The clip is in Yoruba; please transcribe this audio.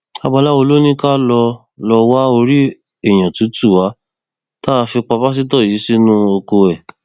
babaláwo ló ní ká lọọ lọọ wá orí èèyàn tútù wa tá a fi pa pásítọ yìí sínú oko ẹ